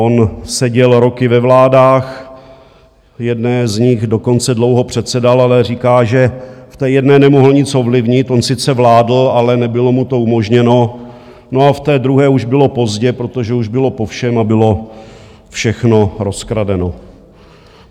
On seděl roky ve vládách, jedné z nich dokonce dlouho předsedal, ale říká, že v té jedné nemohl nic ovlivnit, on sice vládl, ale nebylo mu to umožněno, no a v té druhé už bylo pozdě, protože už bylo po všem a bylo všechno rozkradeno.